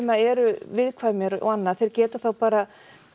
eru viðkvæmir og annað geta þá bara